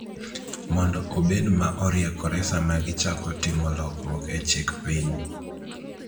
mondo obed ma oriekore sama gichako timo lokruok e chik piny.